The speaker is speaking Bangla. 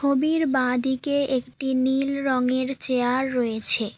ছবির বাঁদিকে একটি নীল রঙের চেয়ার রয়েছে।